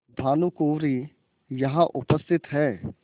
भानुकुँवरि यहाँ उपस्थित हैं